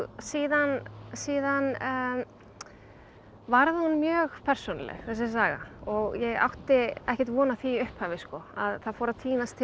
síðan síðan varð hún mjög persónuleg þessi saga og ég átti ekkert von á því í upphafi það fór að tínast til